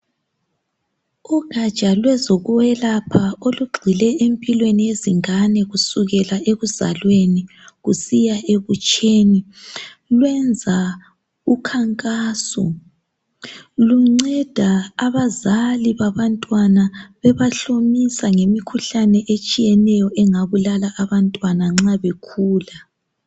Ugatsha lwezokwelapha olugxile empilweni yezingane kusukela ekuzalweni kusiya ebutsheni lwenza ukhankasu. Lunceda abazali babantwana bebahlomisa ngemikhuhlane etshiyeneyo engabulala abantwana nxa bekhula.